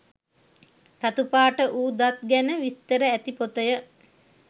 රතු පාට වූ දත් ගැන විස්තර ඇති පොතය.